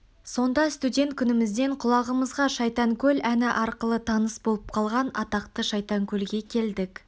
сонда студент күнімізден құлағымызға шайтанкөл әні арқылы таныс болып қалған атақты шайтанкөлге келдік